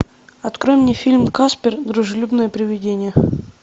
открой мне фильм каспер дружелюбное приведение